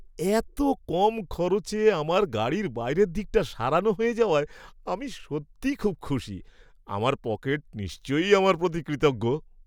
এত কম খরচে আমার গাড়ির বাইরের দিকটা সারানো হয়ে যাওয়ায় আমি সত্যিই খুব খুশি; আমার পকেট নিশ্চয়ই আমার প্রতি কৃতজ্ঞ!